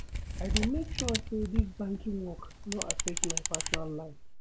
I dey make sure sey dis banking work no affect my personal life.